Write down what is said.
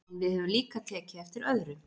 En við höfum líka tekið eftir öðru.